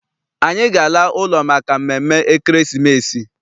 Anyị ga- ala ụlọ maka mmemme ekeresimesi.